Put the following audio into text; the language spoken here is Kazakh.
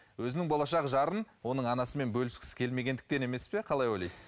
өзінің болашақ жарын оның анасымен бөліскісі келмегендіктен емес пе қалай ойлайсыз